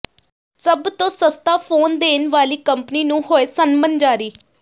ਸਭ ਤੋਂ ਸਸਤਾ ਫੋਨ ਦੇਣ ਵਾਲੀ ਕੰਪਨੀ ਨੂੰ ਹੋਏ ਸੰਮਨ ਜਾਰੀ